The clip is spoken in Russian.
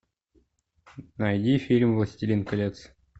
найди фильм властелин колец